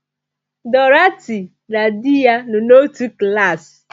Dorothy na di ya nọ n’otu klaasị.